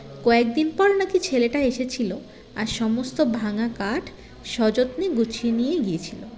কয়েকদিন পর নাকি ছেলেটা এসেছিলো আর সমস্ত ভাঙা কাঠ স্বযত্মে গুছিয়ে নিয়ে গিয়েছিলো